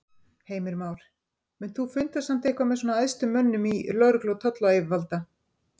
Heimir Már: Munt þú funda samt eitthvað með svona æðstu mönnum í lögreglu og tollayfirvalda?